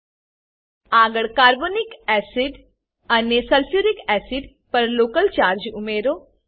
આગળ carbonic acid carbonic acid અને sulphuric acid sulphuric acid પર લોકલ ચાર્જ ઉમેરો